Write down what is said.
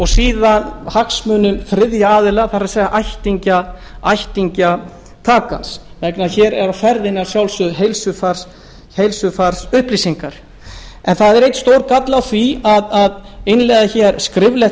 síðan hagsmunum þriðja aðila það er ættingja taka hér er á ferðinni að sjálfsögðu heilsufarsupplýsingar það er einn galli á því að innleiða hér skriflegt